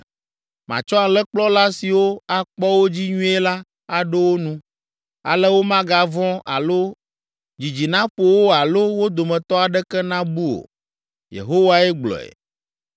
Matsɔ alẽkplɔla siwo akpɔ wo dzi nyuie la aɖo wo nu, ale womagavɔ̃ alo dzidzi naƒo wo alo wo dometɔ aɖeke nabu o.” Yehowae gblɔe.